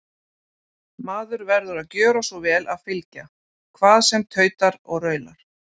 Maður verður að gjöra svo vel að fylgja, hvað sem tautar og raular.